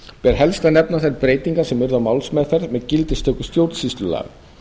ber helst að nefna þær breytingar sem urðu á málsmeðferð með gildistöku stjórnsýslulaga